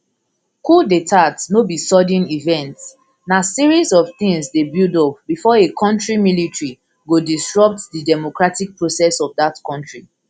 coup detats no be sudden event na series of things dey build up before a kontri military go disrupt di democratic process of dat kontri